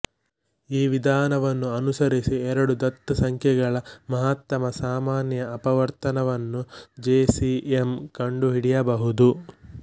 ಈ ವಿಧಾನವನ್ನು ಅನುಸರಿಸಿ ಎರಡು ದತ್ತ ಸಂಖ್ಯೆಗಳ ಮಹತ್ತಮ ಸಾಮಾನ್ಯ ಅಪವರ್ತನವನ್ನು ಜೆ ಸಿ ಎಂ ಕಂಡು ಹಿಡಿಯಬಹುದು